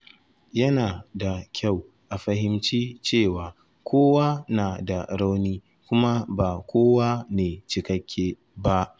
Yana da kyau a fahimci cewa kowa na da rauni, kuma ba kowa ne cikakke ba.